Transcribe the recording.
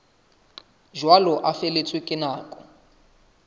jwalo a feletswe ke nako